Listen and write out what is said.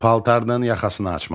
Paltarının yaxasını açmalı.